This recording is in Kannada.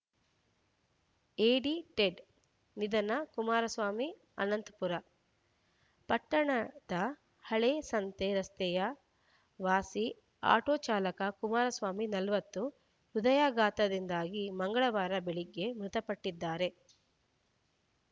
ಎಡಿಟೆಡ್‌ ನಿಧನ ಕುಮಾರಸ್ವಾಮಿ ಆನಂದಪುರ ಪಟ್ಟಣದ ಹಳೇ ಸಂತೆ ರಸ್ತೆಯ ವಾಸಿ ಆಟೋ ಚಾಲಕ ಕುಮಾರಸ್ವಾಮಿ ನಲವತ್ತು ಹೃದಯಾಘಾತದಿಂದಾಗಿ ಮಂಗಳವಾರ ಬೆಳಗ್ಗೆ ಮೃತಪಟ್ಟಿದ್ದಾರೆ